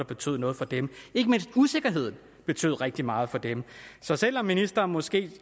betød noget for dem ikke mindst usikkerheden betød rigtig meget for dem så selv om ministeren måske